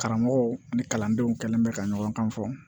Karamɔgɔw ni kalandenw kɛlen bɛ ka ɲɔgɔn kan fɔ